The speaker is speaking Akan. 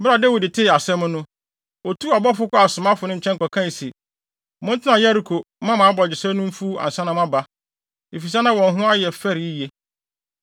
Bere a Dawid tee asɛm no, otuu abɔfo kɔɔ asomafo no nkyɛn kɔkae se, “Montena Yeriko mma mo abogyesɛ no mfuw ansa na moaba.” Efisɛ na wɔn ho ayɛ fɛre yiye.